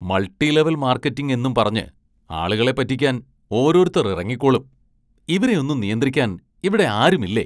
Multi level‍ marketing എന്നും പറഞ്ഞ് ആളുകളെ പറ്റിക്കാന്‍ ഓരോരുത്തര്‍ ഇറങ്ങിക്കോളും, ഇവരെയൊന്നും നിയന്ത്രിക്കാന്‍ ഇവിടെയാരുമില്ലേ?